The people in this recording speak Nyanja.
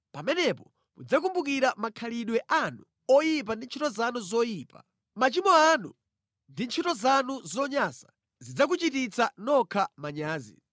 Pamenepo mudzakumbukira makhalidwe anu oyipa ndi ntchito zanu zoyipa. Machimo anu ndi ntchito zanu zonyansa zidzakuchititsa nokha manyazi.